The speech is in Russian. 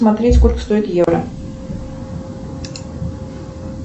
смотреть сколько стоит евро